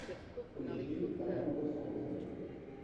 поищи потомков солнца